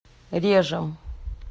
режем